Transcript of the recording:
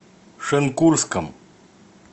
шенкурском